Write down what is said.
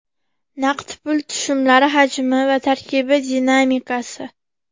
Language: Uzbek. Naqd pul tushumlari hajmi va tarkibi dinamikasi.